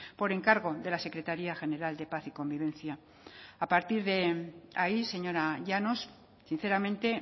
por encargo de la secretaria general de paz y convivencia a partir de ahí señora llanos sinceramente